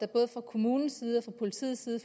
både fra kommunens side og fra politiets side